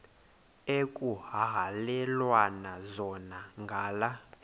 ekuhhalelwana zona ngala